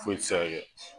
Foyi ti se ka kɛ